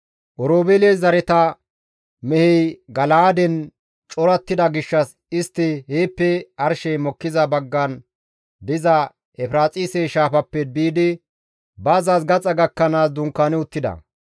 Oroobeele zareta mehey Gala7aaden corattida gishshas istti heeppe arshey mokkiza baggan diza Efiraaxise Shaafappe biidi bazzaas gaxa gakkanaas dunkaani uttida.